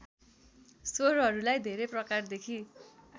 स्वरहरूलाई धेरै प्रकारदेखि